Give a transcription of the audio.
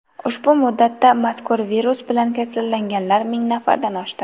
Ushbu muddatda mazkur virus bilan kasallanganlar ming nafardan oshdi.